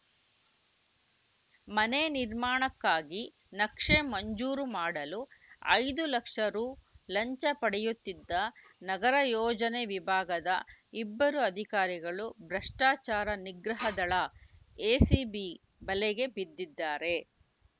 ಮನೆ ನಿರ್ಮಾಣಕ್ಕಾಗಿ ನಕ್ಷೆ ಮಂಜೂರು ಮಾಡಲು ಐದು ಲಕ್ಷ ರು ಲಂಚ ಪಡೆಯುತ್ತಿದ್ದ ನಗರ ಯೋಜನೆ ವಿಭಾಗದ ಇಬ್ಬರು ಅಧಿಕಾರಿಗಳು ಭ್ರಷ್ಟಾಚಾರ ನಿಗ್ರಹ ದಳ ಎಸಿಬಿ ಬಲೆಗೆ ಬಿದ್ದಿದ್ದಾರೆ